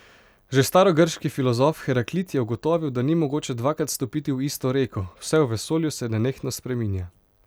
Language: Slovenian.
Že starogrški filozof Heraklit je ugotovil, da ni mogoče dvakrat stopiti v isto reko, vse v vesolju se nenehno spreminja.